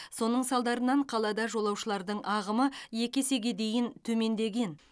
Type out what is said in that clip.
соның салдарынан қалада жолаушылардың ағымы екі есеге дейін төмендеген